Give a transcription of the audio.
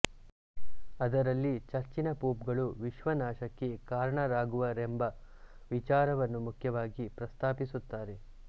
ಅದರಲ್ಲಿ ಚರ್ಚಿನ ಪೋಪ್ಗಳು ವಿಶ್ವನಾಶಕ್ಕೆ ಕಾರಣರಾಗುವರೆಂಬ ವಿಚಾರವನ್ನು ಮುಖ್ಯವಾಗಿ ಪ್ರಸ್ತಾಪಿಸುತ್ತಾರೆ